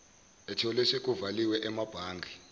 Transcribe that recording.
etholwe sekuvaliwe emabhange